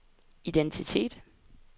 identitet